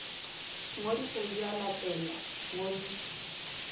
ngodiso di a latelwa ngodiso